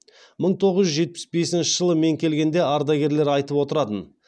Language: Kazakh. мың тоғыз жүз жетпіс бесінші жылы мен келгенде ардагерлер айтып отыратын